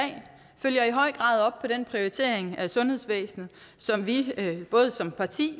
følger i høj grad op på den prioritering af sundhedsvæsenet som vi både som parti